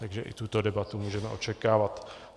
Takže i tuto debatu můžeme očekávat.